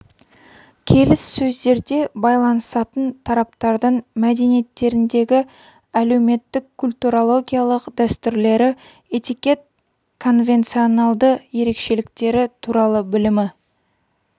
келіссөздерде байланысатын тараптардың мәдениеттеріндегі әлеуметтік-культурологиялық дәстүрлері этикет конвенционалды ерекшеліктері туралы білімі